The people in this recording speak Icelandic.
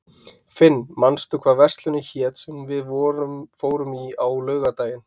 Finn, manstu hvað verslunin hét sem við fórum í á laugardaginn?